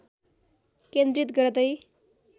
केन्द्रित गर्दै